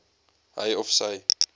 hy of sy